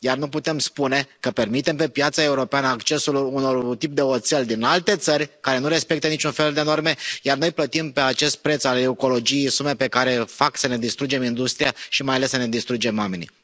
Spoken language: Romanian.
Iar nu putem spune că permitem pe piața europeană accesul unui tip de oțel din alte țări care nu respectă niciun fel de norme iar noi plătim pe acest preț al ecologiei sume care fac să ne distrugem industria și mai ales să ne distrugem oamenii.